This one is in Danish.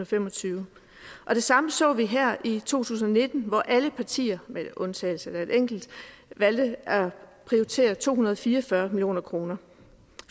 fem og tyve og det samme så vi her i to tusind og nitten hvor alle partier med undtagelse af et enkelt valgte at prioritere to hundrede og fire og fyrre million kroner